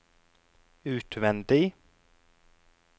utvendig